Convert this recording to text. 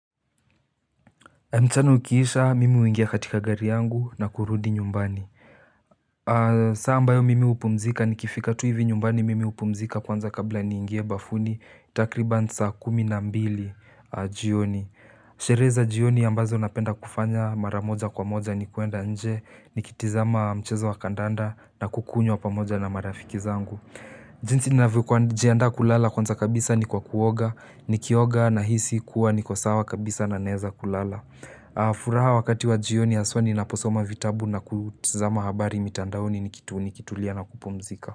Mchana ukiisha, mimi huingia katika gari yangu na kurudi nyumbani. Saa ambayo mimi hupumzika nikifika tu hivi nyumbani mimi hupumzika kwanza kabla niingie bafuni takriban saa kumi na mbili jioni. Sherehe za jioni ambazo napenda kufanya maramoja kwa moja ni kwenda nje, nikitazama mchezo wa kandanda na kukunywa pamoja na marafiki zangu. Jinsi ninavyo jiandaa kulala kwanza kabisa ni kwa kuoga, nikioga nahisi kuwa niko sawa kabisa na naeza kulala. Furaha wakati wa jioni haswa ninaposoma vitabu na kutazama habari mitandaoni nikitulia na kupumzika.